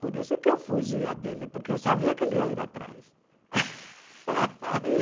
Por isso que eu fugia dele, porque eu sabia que ele ia ir atrás.